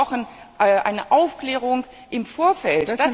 Wir brauchen eine Aufklärung im Vorfeld.